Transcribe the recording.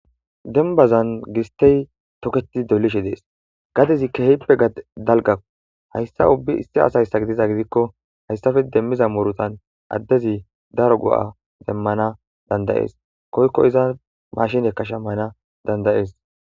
Demibazani gisiteyi toketi dolishe dessi gadezi kehippe daligako. Hayisa ubbay issi assa bba gidizaysa gidiko haysape demiza murutani adezi darro goa demans danidayesi koyiko izza mashineka shamana danidayes